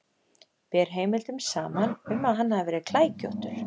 Ber heimildum saman um að hann hafi verið klækjóttur.